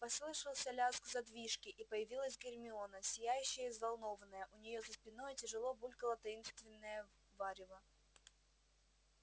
послышался лязг задвижки и появилась гермиона сияющая и взволнованная у нее за спиной тяжело булькало таинственное варево